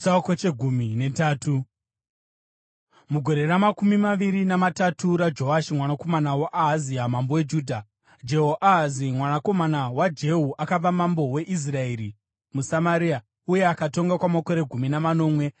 Mugore ramakumi maviri namatatu raJoashi mwanakomana waAhazia mambo weJudha, Jehoahazi mwanakomana waJehu akava mambo weIsraeri muSamaria, uye akatonga kwamakore gumi namanomwe.